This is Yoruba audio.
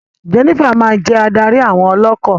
Jenifa ma jẹ adarí àwọn ọlọkọ.